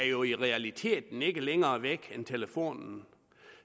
jo i realiteten ikke er længere væk end telefonen